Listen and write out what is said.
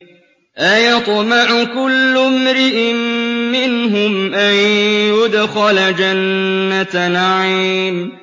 أَيَطْمَعُ كُلُّ امْرِئٍ مِّنْهُمْ أَن يُدْخَلَ جَنَّةَ نَعِيمٍ